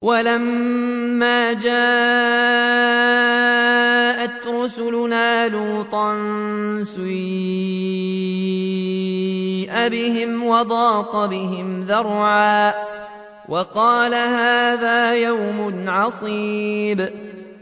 وَلَمَّا جَاءَتْ رُسُلُنَا لُوطًا سِيءَ بِهِمْ وَضَاقَ بِهِمْ ذَرْعًا وَقَالَ هَٰذَا يَوْمٌ عَصِيبٌ